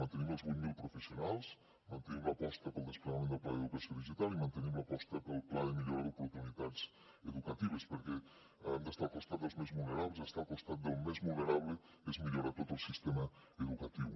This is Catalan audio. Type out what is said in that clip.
mantenim els vuit mil professionals mantenim l’aposta pel des plegament del pla d’educació digital i mantenim l’aposta pel pla de millora d’oportunitats educatives perquè hem d’estar al costat dels més vulnerables i estar al costat del més vulnerable és millorar tot el sistema educatiu